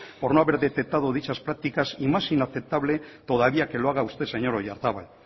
por no haber detectado dichas prácticas y más inaceptable todavía que lo haga usted señor oyarzabal